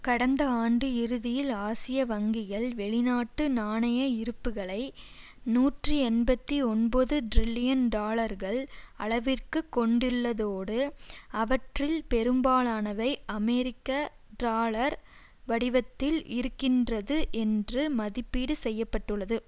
கடந்த ஆண்டு இறுதியில் ஆசிய வங்கிகள் வெளிநாட்டு நாணய இருப்புக்களை நூற்றி எண்பத்தி ஒன்பது டிரில்லியன் டாலர்கள் அளவிற்கு கொண்டுள்ளதோடு அவற்றில் பெரும்பாலானவை அமெரிக்க டாலர் வடிவத்தில் இருக்கின்றது என்று மதிப்பீடு செய்ய பட்டுள்ளது